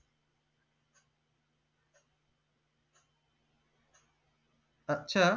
আচ্ছা